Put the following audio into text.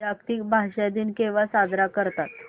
जागतिक भाषा दिन केव्हा साजरा करतात